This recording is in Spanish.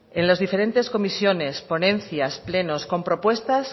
en las diferentes comisiones ponencias plenos con propuestas